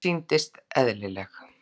Hún sýndist: eðlileg.